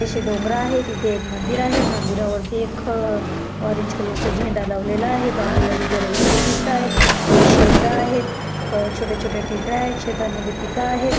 आशे डोंगर आहेत तिथे एक मंदिर आहे मंदिरावरती एक ऑरेंज कलरचा झेंडा लावलेला आहे बाजूलाच घर वगैरे दिसतायत हे शेत आहेत अ छोटे छोटे ढेकळ आहेत शेतामध्ये पीक आहेत.